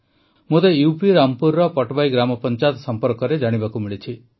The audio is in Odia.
ମୋତେ ୟୁପି ରାମପୁରର ପଟବାଇ ଗ୍ରାମପଂଚାୟତ ସମ୍ପର୍କରେ ଜାଣିବାକୁ ମିଳିଛି